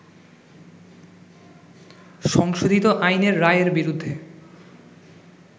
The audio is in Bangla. সংশোধিত আইনে রায়ের বিরুদ্ধে